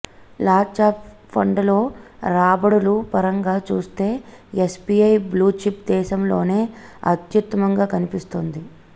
large cap ఫండ్లలో రాబడుల పరంగా చూస్తే ఎస్బీఐ బ్లూచిప్ దేశంలోనే అత్యుత్తమంగా కనిపిస్తోంది